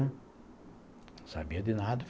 Sabia de nada.